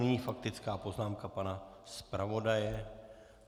Nyní faktická poznámka pana zpravodaje.